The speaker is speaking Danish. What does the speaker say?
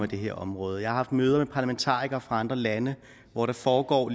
det her område og jeg haft møder med parlamentarikere fra andre lande hvor der foregår